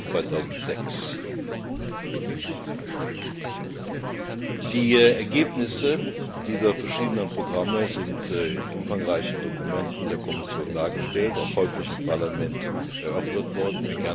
2006. Die Ergebnisse dieser verschiedenen Programme sind in umfangreichen Dokumenten der Kommission dargestellt und auch häufig im Parlament erörtert worden.